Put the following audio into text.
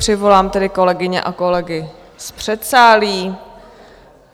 Přivolám tedy kolegyně a kolegy z předsálí.